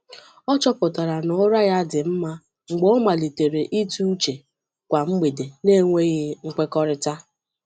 Ọ chọpụtara na ụra ya dị mma mgbe ọ malitere ịtụ uche kwa mgbede n’enweghị nkwekọrịta.